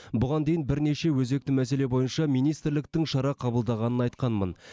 бұған дейін бірнеше өзекті мәселе бойынша министрліктің шара қабылдағанын айтқанмын